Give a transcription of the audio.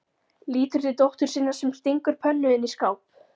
Lítur til dóttur sinnar sem stingur pönnu inn í skáp.